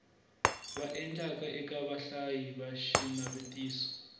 endlaka eka vahlayi va xinavetiso